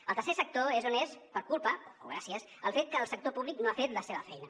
el tercer sector és on és per culpa o gràcies al fet que el sector públic no ha fet la seva feina